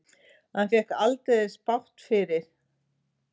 En hann fékk aldeilis bágt fyrir.